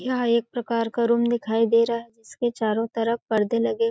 यह एक प्रकार का रूम दिखाई दे रहा है जिसके चारों ओर तरफ पर्दे लगे --